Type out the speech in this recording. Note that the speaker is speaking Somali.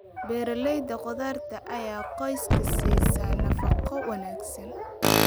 Beerashada khudaarta ayaa qoyska siisa nafaqo wanaagsan.